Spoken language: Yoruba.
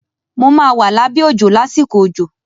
Mo máa wà lábẹ́ òjò lásìkò òjò.